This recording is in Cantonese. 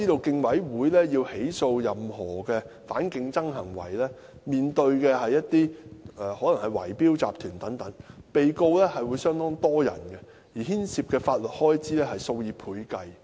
競委會要起訴任何反競爭行為，可能面對圍標集團等，被告的人數相當多，而牽涉的法律開支數以倍計。